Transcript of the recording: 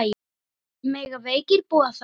Mega veikir búa þar?